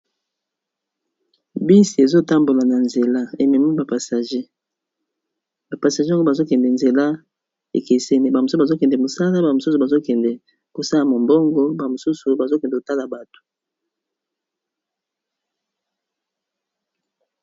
Bisi ezo tambola na nzela ememi ba passager, ba passager yango bazo kende nzela ekeseni ba mosusu bazo kende mosala ba mosusu bazo kende kosala mombongo ba mosusu bazo kende kotala bato.